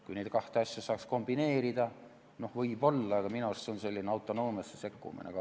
Kui neid kahte asja saaks kombineerida, siis võib-olla, aga minu arust on see selline autonoomiasse sekkumine.